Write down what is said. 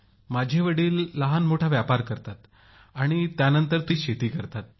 माझे वडील लहानमोठा व्यापार करतात आणि त्यानंतर थोडी शेती करतात